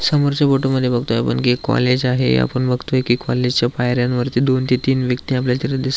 समोरच्या फोटो मधी बगतोय आपण कि काॅलेज आहे आपण बगतोय काॅलेज च्या पायऱ्यांवरती दोन ते तीन व्यक्ती आपल्याला तिथ दिस --